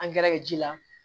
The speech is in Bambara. Angɛrɛ ji la